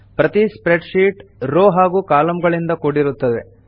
ಪ್ರತೀ spreadsheet row ಹಾಗೂ ಕಾಲಂಗಳಿಂದ ಕೂಡಿರುತ್ತವೆ